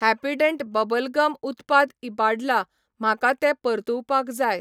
Happydent bubble gum उत्पाद इबाडला, म्हाका तें परतुवपाक जाय.